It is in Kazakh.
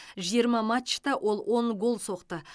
жиырма матчта ол он гол соқты